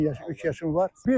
83 yaşım var.